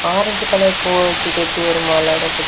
Orange colour பூ வச்சு கட்டி ஒரு மாலை இருக்குது.